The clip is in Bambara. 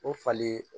O falen